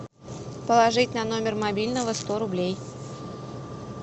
положить на номер мобильного сто рублей